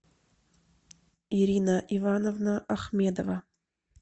ирина ивановна ахмедова